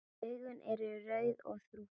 Augun eru rauð og þrútin.